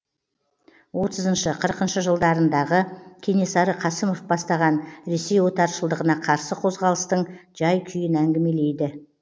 отызыншы қырықыншы жылдарындағы кенесары қасымов бастаған ресей отаршылдығына қарсы қозғалыстың жай күйін әңгімелейді